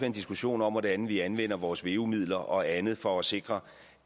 en diskussion om hvordan vi anvender vores veu midler og andet for at sikre